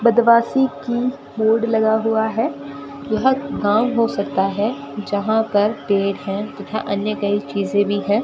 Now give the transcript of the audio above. बदमाशी की बोर्ड लगा हुआ है यह गांव हो सकता है जहां पर पेड़ हैं तथा अन्य कई चीजें भी है।